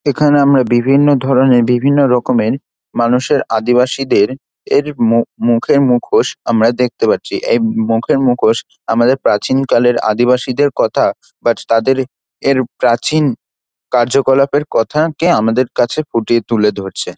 এখানে আমরা বিভিন্ন ধরনের বিভিন্ন রকমের মানুষের আদিবাসীদের এর মু -মুখের মুখোশ আমরা দেখতে পারছি এই মুখের মুখোশ আমাদের প্রাচীন কালের আদিবাসীদের কথা বা তাদের এর প্রাচীন কার্যকলাপের কথা কে আমাদের কাছে ফুটিয়ে তুলে ধরছে।